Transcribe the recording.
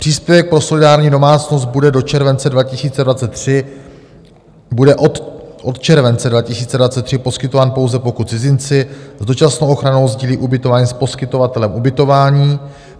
Příspěvek pro solidární domácnost bude od července 2023 poskytován, pouze pokud cizinci s dočasnou ochranou sdílí ubytování s poskytovatelem ubytování.